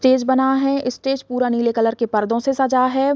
Stage बना है stage पूरा नीले कलर के पर्दो से सजा है।